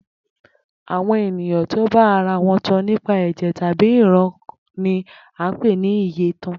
Àwo̩n ènìyàn tó bá ara wo̩n tan nípa è̩jè̩ tàbí ìran ni à ń pè ni iyèkan